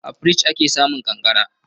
A firinji ake samun ƙanƙara.